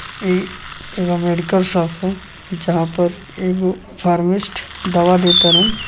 इ एगो medical shop है जहाँ पर एगो फर्मिस्ट दवा देताड़न।